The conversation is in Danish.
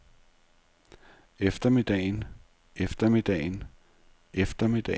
eftermiddagen eftermiddagen eftermiddagen